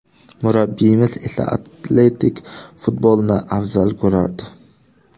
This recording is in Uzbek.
Murabbiyimiz esa atletik futbolni afzal ko‘rardi.